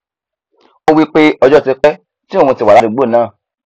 ó wípé ọjọ ti pẹ tí òun ti wà ládùúgbò náà